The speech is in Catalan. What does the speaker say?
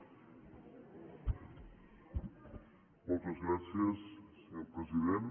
moltes gràcies senyor president